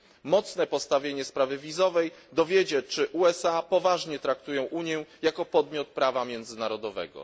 Mocne postawienie sprawy wizowej dowiedzie, czy USA poważnie traktują Unię jako podmiot prawa międzynarodowego.